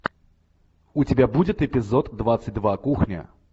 у тебя будет эпизод двадцать два кухня